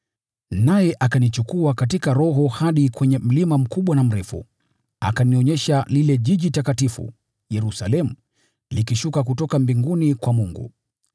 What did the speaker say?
Naye akanichukua katika Roho hadi kwenye mlima mkubwa na mrefu, akanionyesha ule Mji Mtakatifu, Yerusalemu, ukishuka kutoka mbinguni kwa Mungu.